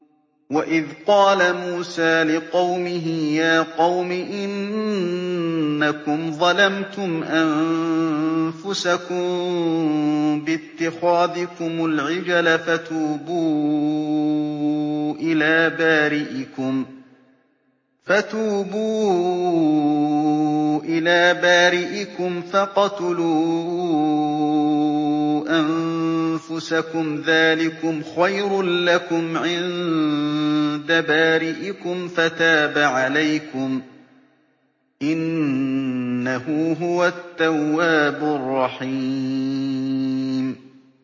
وَإِذْ قَالَ مُوسَىٰ لِقَوْمِهِ يَا قَوْمِ إِنَّكُمْ ظَلَمْتُمْ أَنفُسَكُم بِاتِّخَاذِكُمُ الْعِجْلَ فَتُوبُوا إِلَىٰ بَارِئِكُمْ فَاقْتُلُوا أَنفُسَكُمْ ذَٰلِكُمْ خَيْرٌ لَّكُمْ عِندَ بَارِئِكُمْ فَتَابَ عَلَيْكُمْ ۚ إِنَّهُ هُوَ التَّوَّابُ الرَّحِيمُ